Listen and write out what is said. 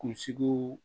Kunsigiw